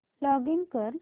login कर